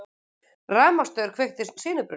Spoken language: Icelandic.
Rafmagnsstaur kveikti sinubruna